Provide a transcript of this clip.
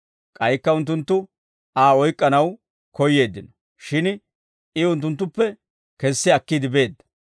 K'aykka unttunttu Aa oyk'k'anaw koyyeeddino; shin I unttunttuppe kessi akkiide beedda.